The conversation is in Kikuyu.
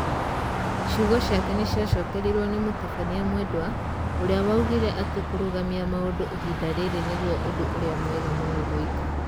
Ciugo ciake nĩ ciacokerirwo nĩ mũtabania Mwendwa ũrĩa waugire atĩ kũrũgamia maũndũ ihinda rĩrĩ nĩgũo ũndũ urĩa mwega mũno gũĩka.